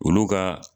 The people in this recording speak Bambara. Olu ka